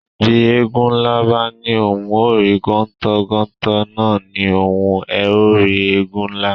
Bí Éégun nlá bá ní ohùn o rí gontò, gontò nà a ní ohùn o rí Éégun nlá